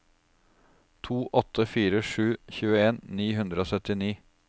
to åtte fire sju tjueen ni hundre og syttini